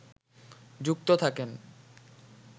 যুক্ত থাকেন